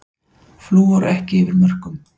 Flúor ekki yfir mörkum